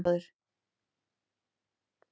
Óli var stóri bróðir.